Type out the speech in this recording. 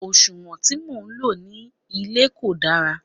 òṣùwọ̀n tí mo lò ní ilé kò dára